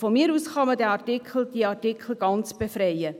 Von mir aus kann man diese Artikel ganz befreien.